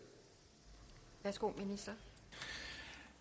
ressort